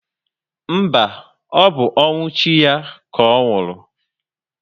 Mba, ọ bụ ọnwụ chi ya ka ọ nwụrụ